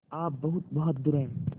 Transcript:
आप बहुत बहादुर हैं